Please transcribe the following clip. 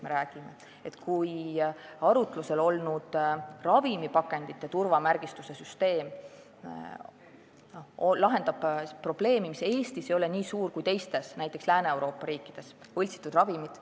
Arutlusel olnud ravimipakendite turvamärgistuse süsteem lahendab probleemi, mis Eestis ei ole nii suur kui näiteks Lääne-Euroopa riikides – see probleem on võltsitud ravimid.